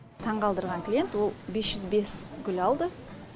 таңғалдырған клиент ол бес жүз бес гүл алды